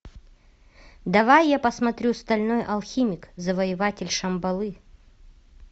давай я посмотрю стальной алхимик завоеватель шамбалы